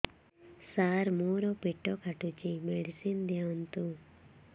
ସାର ମୋର ପେଟ କାଟୁଚି ମେଡିସିନ ଦିଆଉନ୍ତୁ